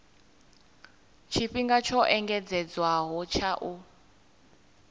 tshifhinga tsho engedzedzwaho tsha u